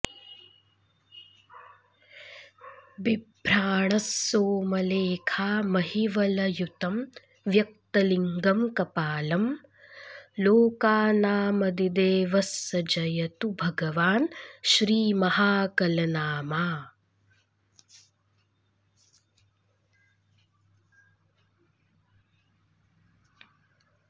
बिभ्राणः सोमलेखामहिवलययुतं व्यक्तलिङ्गं कपालं लोकानामदिदेवः स जयतु भगवान् श्रीमहाकलनामा